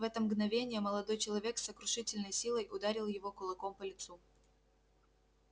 в это мгновение молодой человек с сокрушительной силой ударил его кулаком по лицу